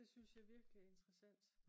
det synes jeg virkelig er interessant